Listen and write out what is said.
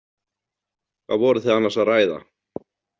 Hvað voru þið annars að ræða?